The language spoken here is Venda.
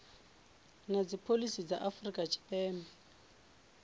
na dzipholisi dza afrika tshipembe